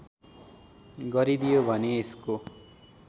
गरिदियो भने यसको